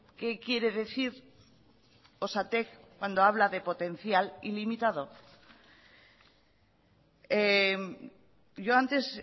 qué quiere decir osatek cuando habla de potencial ilimitado yo antes